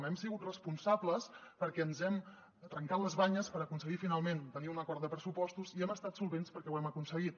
hem sigut responsables perquè ens hem trencat les banyes per aconseguir finalment tenir un acord de pressupostos i hem estat solvents perquè ho hem aconseguit